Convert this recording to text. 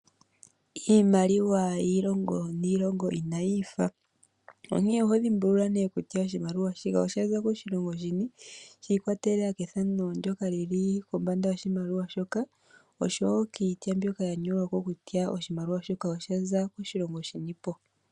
Iimaliwa yiilongo niilongo inayi fa, onkee oho dhimbulula ne kutya oshimaliwa shika osho koshilongo shini, shiikwatelela kethano ndyoka lili kombanda yoshimaliwa shoka, osho wo kiitya mbyoka ya nyolwa kutya oshimaliwa shoka osha za koshilongo shinipo.